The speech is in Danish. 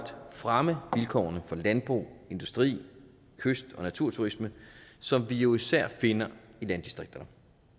fremme vilkårene for landbrugs industri kyst og naturturisme som vi jo især finder i landdistrikterne